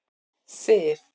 Sif